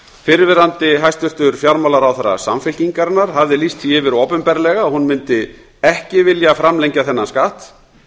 fyrrverandi hæstvirtur fjármálaráðherra samfylkingarinnar hafði lýst því yfir opinberlega að hún mundi ekki vilja framlengja þennan skatt